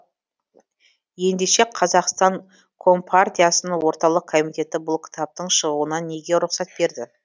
ендеше қазақстан компартиясының орталық комитеті бұл кітаптың шығуына неге рұқсат берді